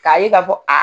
K'a ye ka fɔ a